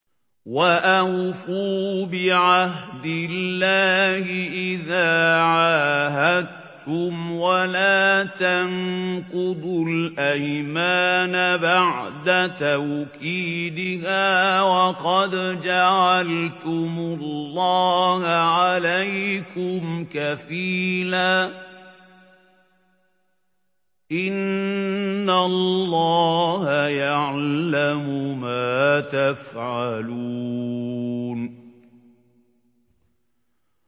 وَأَوْفُوا بِعَهْدِ اللَّهِ إِذَا عَاهَدتُّمْ وَلَا تَنقُضُوا الْأَيْمَانَ بَعْدَ تَوْكِيدِهَا وَقَدْ جَعَلْتُمُ اللَّهَ عَلَيْكُمْ كَفِيلًا ۚ إِنَّ اللَّهَ يَعْلَمُ مَا تَفْعَلُونَ